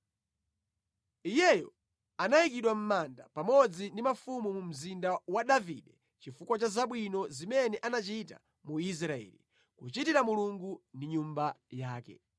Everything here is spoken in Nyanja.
Iyeyo anayikidwa mʼmanda pamodzi ndi mafumu mu mzinda wa Davide chifukwa cha zabwino zimene anachita mu Israeli, kuchitira Mulungu ndi Nyumba yake.